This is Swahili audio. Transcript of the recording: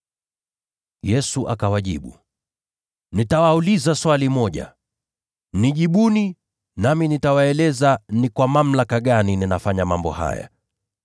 Yesu akawajibu, “Nitawauliza swali moja. Nijibuni, nami nitawaambia ni kwa mamlaka gani ninafanya mambo haya.